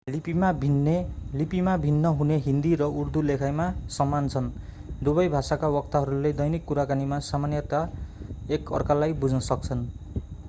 लिपिमा भिन्न हुने हिन्दी र उर्दू लेखाइमा समान छन् दुबै भाषाका वक्ताहरूले दैनिक कुराकानीमा सामान्यतया एक अर्कालाई बुझ्न सक्छन्